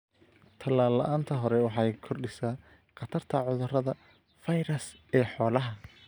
Tallaal la'aanta hore waxay kordhisaa khatarta cudurada fayras ee xoolaha.